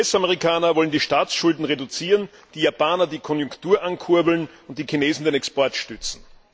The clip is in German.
Die US Amerikaner wollen die Staatsschulden reduzieren, die Japaner die Konjunktur ankurbeln und die Chinesen den Export stützen.